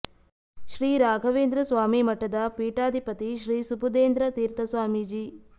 ಶ್ರೀ ರಾಘವೇಂದ್ರ ಸ್ವಾಮಿ ಮಠದ ಪೀಠಾಧಿಪತಿ ಶ್ರೀ ಸುಬುಧೇಂದ್ರ ತೀರ್ಥ ಸ್ವಾಮೀಜಿ